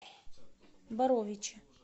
боровичи